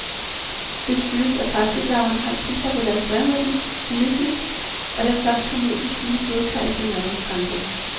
Det skyldes, at parasitlarverne har tilpasset deres døgnrytme til myggene, og derfor først kommer ud i de fine blodkar efter mørkets frembrud.